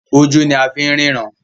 ojú ní a fín ríran.